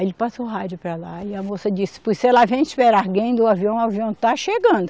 Aí ele passou o rádio para lá e a moça disse, pois se ela vem esperar alguém do avião, o avião está chegando.